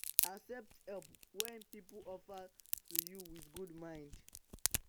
accept help wey pipo offer to you with good mind